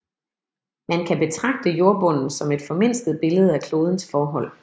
Man kan betragte jordbunden som et formindsket billede af klodens forhold